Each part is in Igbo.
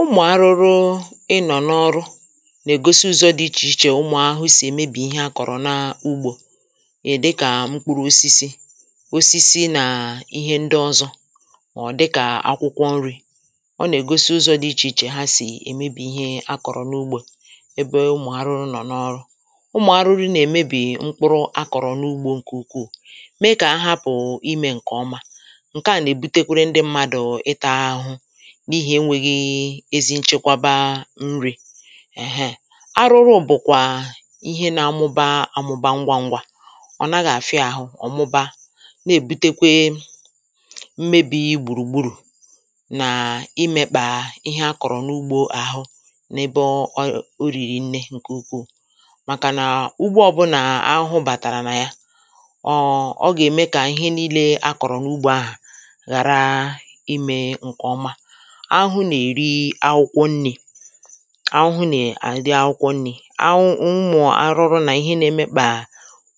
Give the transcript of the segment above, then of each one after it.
Ụmụ̀ arụrụ ịnọ n’ọrụ nà-ègosi ụzọ̄ dị ichè ichè ụmụ̀ ahụhụ sì èmebì ihe akọ̀rọ̀ na ugbō ị̀ dịkà mkpụrụ osisi osisi nà ihe ndị ọzọ ọ̀ dịkà akwụkwọ nrī ọ nà-ègosi ụzọ̄ dị ichè ichè ha sì èmebì ihe akọ̀rọ̀ n’ugbō ebe ụmụ̀ arụrụ nọ̀ n’ọrụ ụmụ̀ arụrụ nà-èmebì mkpụrụ akọ̀rọ̀ n’ugbō ǹkè ukwuù me kà ha hapụ̀ imē ǹkè ọma ǹke à nà-èbutekwere ndị mmadụ̀ ịtā ahụhụ n’ihì enwēghị ezi nchekwaba nrī èheè arụrụ bụ̀kwà ihe na-amụba amụba ngwa ngwa ọ̀ naghị̄ àfịa ahụ ọ̀ mụba na-èbutekwe mmebī gbùrùgburù nà imēkpà ihe akọ̀rọ̀ n’ugbō àhụ n’ebe ọ o rìrì nnē ǹkè ukwuù màkà ǹa ugbo ọ̀bụnà ahụhụ bàtàrà nà ya ọ̀ ọ gà-ème kà ihe niīle akọ̀rọ̀ n’ugbō ahà ghàra imē ǹkè ọma ahụhu nà-èri akwụkwọ nnī ahụhu nà-èri akwụkwọ nnī ahụ ụmụ̀ arụrụ nà ihe na emekpà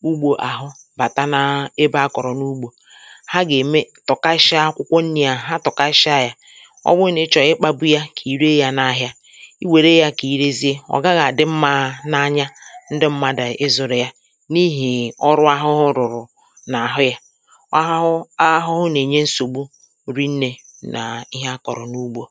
ugbō àhụ bàta na ebe akọ̀rọ̀ n’ugbō ha gà-ème tọ̀kashịa akwụkwọ nnī à ha tọ̀kashịa yā ọ wụ nà ịchọ̀ ịkpābu ya kà ị re yā n’ahịa ị wère yā kà ị rezie ọ̀ gaghị̄ àdị mmā n’anya ndị mmadụ̀ ịzụ̄rụ ya n’ihì ọrụ ahụhụ rụ̀rụ̀ n’àhụ yā ahụhụ ahụhụ nà-ènye nsògbu rinnē nà ihe akọ̀rọ̀ n’ugbō